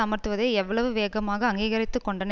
அமர்த்துவதை எவ்வளவு வேகமாக அங்கீகரித்துக் கொண்டன